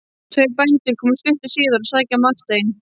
Tveir bændur komu stuttu síðar að sækja Martein.